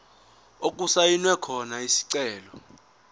okusayinwe khona isicelo